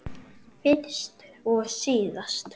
Fyrst og síðast.